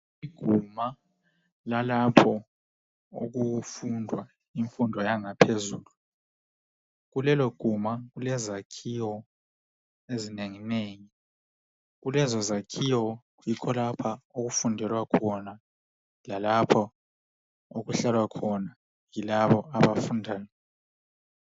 Iguma lalapho okufundwa imfundo yangaphezulu, kuleloguma kulezakhiwo ezinenginegi, kulezozakhiwo yikho lapha okufundelwa khona lalpho okuhlalwa khona yilabo abafunda khona